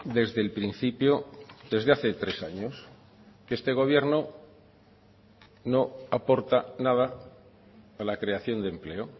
desde el principio desde hace tres años que este gobierno no aporta nada a la creación de empleo